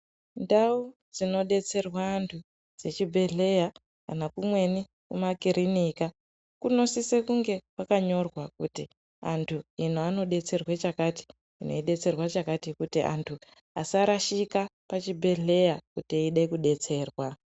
Ndau dzinodetserwa antu dzechibhedhleya kana kumweni kumakiriniki kunosisa kunge kwakanyorwa kuti uku kunodetserwa chakati uku kunodetserwa chakati kuti antu asarashika pachibhedhleya eida kubatsirwa.